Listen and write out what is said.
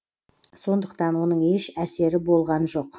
сондықтан оның еш әсері болған жоқ